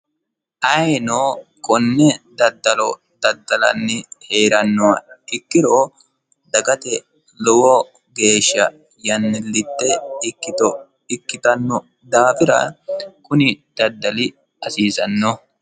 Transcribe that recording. Ayiino konne daddalo daddalanni heeranoha ikkiro dagate lowo geeshsha yannilitte ikkito ikkitanno daafira kuni daddali hasiissano.